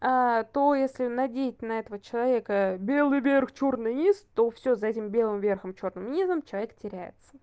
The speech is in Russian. а то если надеть на этого человека белый верх чёрный низ то всё за этим белым верхом чёрным низом человек теряется